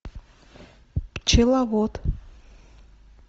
пчеловод